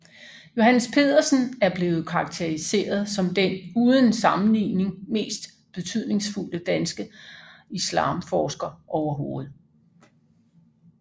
Johannes Pedersen er blevet karakteriseret som den uden sammenligning mest betydningsfulde danske islamforsker overhovedet